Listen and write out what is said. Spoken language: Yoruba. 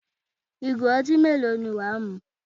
Ìgò ọtí mélòó ni wà á mu?